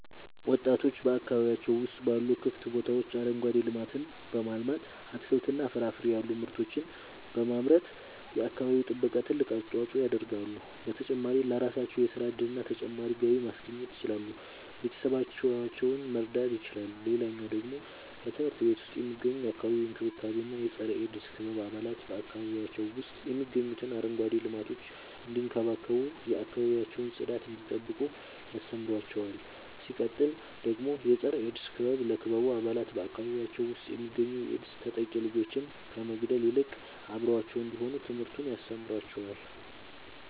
ወጣቶች በአካባቢያቸው ውስጥ ባሉ ክፍት ቦታዎች አረንጓዴ ልማትን በማልማት አትክልትና ፍራፍሬ ያሉ ምርቶችን በማምረት የአካባቢው ጥበቃ ትልቅ አስተዋጽኦ ያደርጋሉ። በተጨማሪም ለራሳቸው የሥራ እድልና ተጨማሪ ገቢ ማስገኘት ይችላሉ ቤተሰቦቻቸውን መርዳት ይችላሉ። ሌላኛው ደግሞ በትምህርት ቤት ውስጥ የሚገኙ የአካባቢ እንክብካቤ እና የፀረ -ኤድስ ክበብ አባላት በአካባቢያቸው ውስጥ የሚገኙትን አረንጓዴ ልማቶች እንዲንከባከቡ የአካባቢያቸውን ጽዳት እንዲጠብቁ ያስተምሯቸዋል። ሲቀጥል ደግሞ የፀረ-ኤድስ ክበብ ለክበቡ አባላት በአካባቢያቸው ውስጥ የሚገኙ የኤድስ ተጠቂ ልጆችን ከመግለል ይልቅ አብረዋቸው እንዲሆኑ ትምህርትን ያስተምራቸዋል።